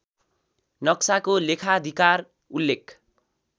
नक्शाको लेखाधिकार उल्लेख